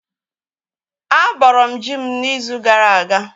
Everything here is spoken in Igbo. Á bọrọ m ji m n'izu gara aga